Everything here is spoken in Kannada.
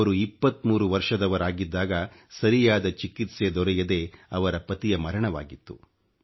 ಅವರು 23 ವರ್ಷದವರಾಗಿದ್ದಾಗ ಸರಿಯಾದ ಚಿಕಿತ್ಸೆ ದೊರೆಯದೆ ಅವರ ಪತಿಯ ಮರಣವಾಗಿತ್ತು